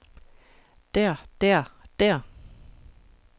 der der der